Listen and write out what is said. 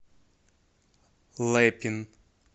лэпин